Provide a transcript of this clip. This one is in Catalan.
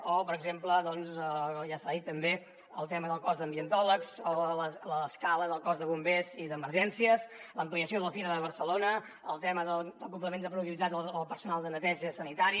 o per exemple ja s’ha dit també el tema del cos d’ambientòlegs o l’escala del cos de bombers i d’emergències l’ampliació de la fira de barcelona el tema del complement de productivitat al personal de neteja sanitari